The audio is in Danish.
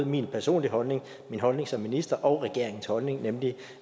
min personlige holdning min holdning som minister og regeringens holdning nemlig